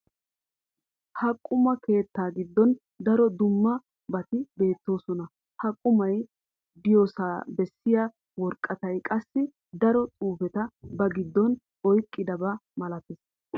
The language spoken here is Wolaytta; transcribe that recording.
ha quma keettaa giddon daro dumma bati beetoosona. ha qumay diyosaa bessiya woraqatay qassi daro xuufeta ba giddon oyqidaba malatees.